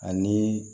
Ani